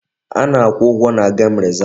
A na-akwụ ụgwọ na gem rezav.